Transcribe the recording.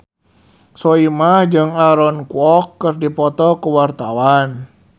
Soimah jeung Aaron Kwok keur dipoto ku wartawan